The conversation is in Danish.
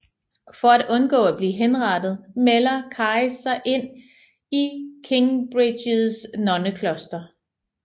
For at undgå at blive henrettet melder Caris sig ind i Kingsbridges nonnekloster